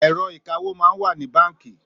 Èrò ikàwó mà n wà ni bànkí